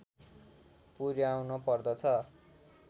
पुर्‍याउनु पर्दछ